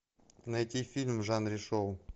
найти фильм в жанре шоу